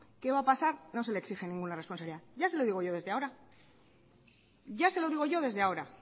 qué va a pasar no se le exige ninguna responsabilidad ya se lo digo yo desde ahora ya se lo digo yo desde ahora